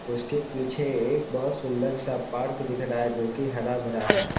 उसके पीछे एक बहुत सुंदर सा पार्क दिख रहा है जो की हरा-भरा है।